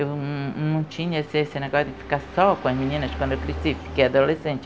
Eu não não tinha esse esse negócio de ficar só com as meninas quando eu cresci, fiquei adolescente.